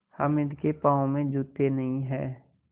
हामिद के पाँव में जूते नहीं हैं